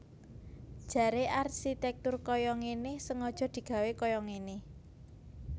Jaré arsitèktur kaya ngéné sengaja digawé kaya ngéné